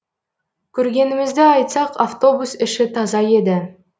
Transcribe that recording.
көргенімізді айтсақ автобус іші таза еді